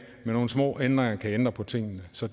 nogle små ændringer kan ændre på tingene så